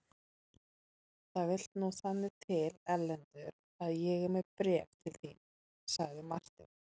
Það vill nú þannig til Erlendur að ég er með bréf til þín, sagði Marteinn.